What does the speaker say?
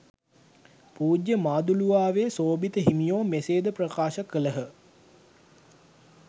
පූජ්‍ය මාදුළුවාවේ සෝභිත හිමියෝ මෙසේද ප්‍රකාශ කළහ